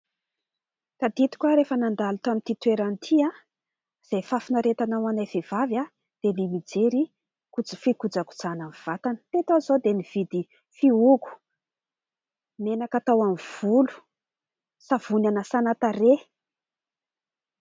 Tadidiko aho rehefa nandalo eto amin'ity toerana ity, izay fahafinaretana ho anay vehivavy dia ny mijery fikojakojana ny vatana. Teto aho izao dia nividy fihogo, menaka atao amin'ny volo, savony hanasana tarehy...